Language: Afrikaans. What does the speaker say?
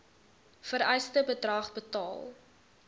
vereiste bedrag betaal